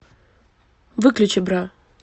выключи бра